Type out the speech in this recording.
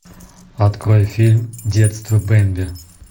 открой фильм детство бемби